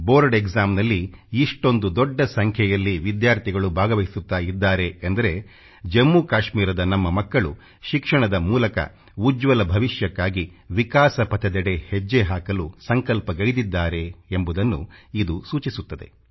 board EXAMನಲ್ಲಿ ಇಷ್ಟೊಂದು ದೊಡ್ಡ ಸಂಖ್ಯೆಯಲ್ಲಿ ವಿದ್ಯಾರ್ಥಿಗಳು ಭಾಗವಹಿಸುತ್ತಿದ್ದಾರೆ ಎಂದರೆ ಜಮ್ಮು ಕಾಶ್ಮೀರದ ನಮ್ಮ ಮಕ್ಕಳು ಶಿಕ್ಷಣದ ಮೂಲಕ ಉಜ್ವಲ ಭವಿಷ್ಯಕ್ಕಾಗಿ ವಿಕಾಸ ಪಥದೆಡೆ ಹೆಜ್ಜೆ ಹಾಕಲು ಸಂಕಲ್ಪಗೈದಿದ್ದಾರೆ ಎಂಬುದನ್ನು ಇದು ಸೂಚಿಸುತ್ತದೆ